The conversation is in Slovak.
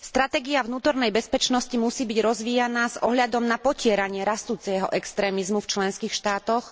Stratégia vnútornej bezpečnosti musí byť rozvíjaná s ohľadom na potieranie rastúceho extrémizmu v členských štátoch,